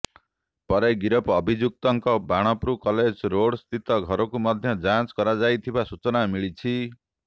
ପରେ ଗିରଫ ଅଭିଯୁକ୍ତଙ୍କ ବାଣପୁର କଲେଜ ରୋଡ୍ ସ୍ଥିତ ଘରକୁ ମଧ୍ୟ ଯାଞ୍ଚ କରାଯାଇଥିବା ସୂଚନା ମିିଳିଛି